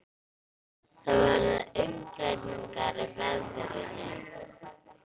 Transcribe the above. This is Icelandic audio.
Það verða umbreytingar í veðrinu.